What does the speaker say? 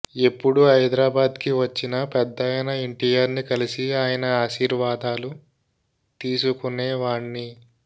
ఎప్పుడు హైదరాబాద్కి వచ్చినా పెద్దాయన ఎన్టీఆర్ని కలిసి ఆయన ఆశీర్వాదాలు తీసుకొనేవాణ్ని